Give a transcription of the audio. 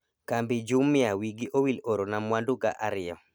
kambi Jumia wigi owil orona mwandu ga ariyo